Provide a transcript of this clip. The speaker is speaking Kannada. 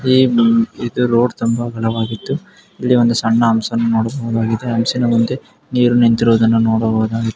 ಇದು ರೋಡ್ ತುಂಬ ಬಲವಾಗಿದ್ದು ಇಲ್ಲಿ ಒಂದು ಸಣ್ಣ ಹಂಸವನ್ನು ನೋಡಬಹುದಾಗಿದೆ. ಹಂಸದ ಮುಂದೆ ನೀರು ನಿಂತಿರುವದನ್ನ ನೋಡಬಹುದು.